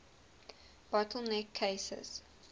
bottle neck cases